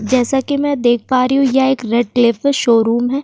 जैसा कि मैं देख पा रही हूँ यह एक रेड क्लेफ चीफ शोरूम है।